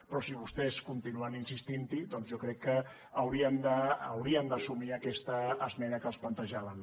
però si vostès continuen insistint hi doncs jo crec que haurien d’assumir aquesta esmena que els plantejàvem